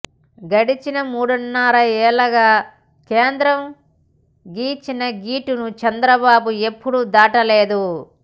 గడచిన మూడున్నరళ్ళుగా కేంద్రం గీచిన గీటును చంద్రబాబు ఎప్పుడూ దాటలేదు